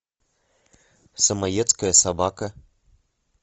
самоедская собака